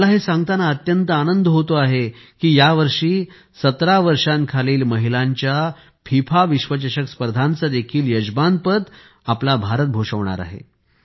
मला हे सांगताना अत्यंत आनंद होतो आहे की यावर्षी 17 वर्षांखालील महिलांच्या फिफा विश्वचषक स्पर्धांचे देखील यजमानपद भारत भूषविणार आहे